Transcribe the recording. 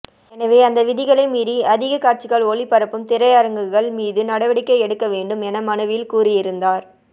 எனவே அந்த விதிகளை மீறி அதிக காட்சிகள் ஒளிபரப்பும் திரையரங்குகள் மீது நடவடிக்கை எடுக்க வேண்டும் என மனுவில் கூறியிருந்தார்